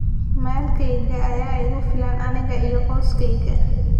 Maalkayga ayaa igu filan aniga iyo qoyskayga.